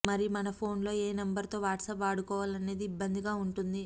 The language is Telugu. మరి మన ఫోన్ లో ఏ నంబర్ తో వాట్సప్ వాడుకోవాలనేది ఇబ్బందిగా ఉంటుంది